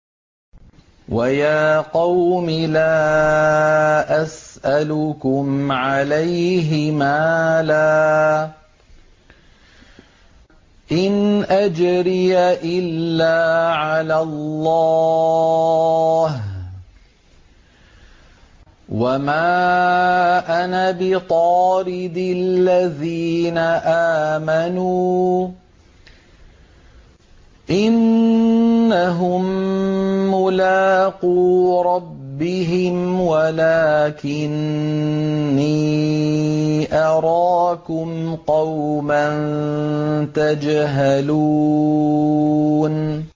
وَيَا قَوْمِ لَا أَسْأَلُكُمْ عَلَيْهِ مَالًا ۖ إِنْ أَجْرِيَ إِلَّا عَلَى اللَّهِ ۚ وَمَا أَنَا بِطَارِدِ الَّذِينَ آمَنُوا ۚ إِنَّهُم مُّلَاقُو رَبِّهِمْ وَلَٰكِنِّي أَرَاكُمْ قَوْمًا تَجْهَلُونَ